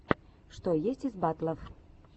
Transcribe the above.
что есть из батлов